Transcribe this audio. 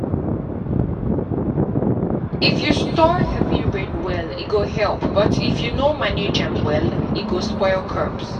if you store heavy rain well e go help but if you no manage am e go spoil crops.